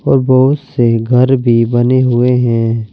और बहुत से घर भी बने हुए हैं।